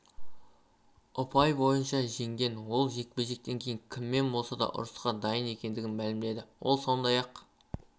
ұпай бойынша жеңген ол жекпе-жектен кейін кіммен болса да ұрысқа дайын екендігін мәлімдеді ол сондай-ақ